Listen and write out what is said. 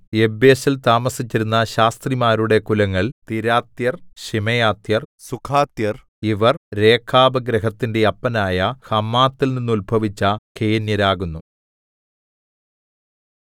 യബ്ബേസിൽ താമസിച്ചിരുന്ന ശാസ്ത്രിമാരുടെ കുലങ്ങൾ തിരാത്യർ ശിമെയാത്യർ സൂഖാത്യർ ഇവർ രേഖാബ് ഗൃഹത്തിന്റെ അപ്പനായ ഹമാത്തിൽനിന്നുത്ഭവിച്ച കേന്യരാകുന്നു